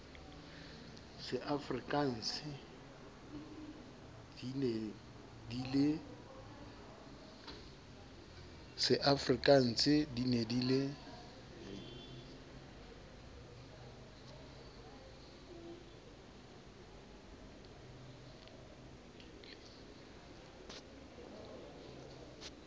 seafrikanse din e di le